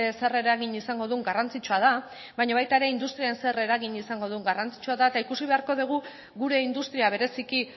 zer eragin izango duen garrantzitsua da baina baita ere industrian zer eragin izango duen garrantzitsua da eta ikusi beharko dugu gure industria bereziki